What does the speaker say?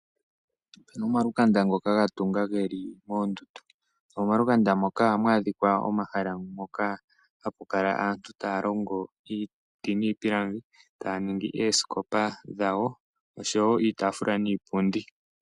Opu na omalukanda ngoka ga tunga ge li moondundu. Oondundu dhomomalukanda moka oha mu adhika aantu taya longo iiti niipilangi, taya ningi oosikopa dhawo oshowo iitafula niipundi.